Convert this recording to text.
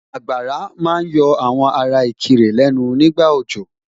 Àgbàrá ma ń yọ àwọn ará Ìkirè lẹ́nu nígbà òjò